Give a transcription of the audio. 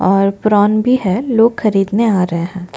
और प्रॉन भी है लोग खरीदने आ रहै है।